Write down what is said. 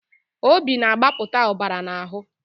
Obi na-agbapụta ọbara n'ahụ